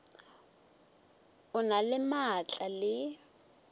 o na le maatla le